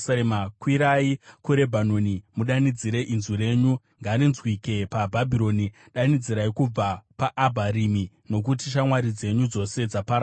“Kwirai kuRebhanoni mudanidzire, inzwi renyu ngarinzwike paBhashani, danidzirai kubva paAbharimi, nokuti shamwari dzenyu dzose dzaparadzwa.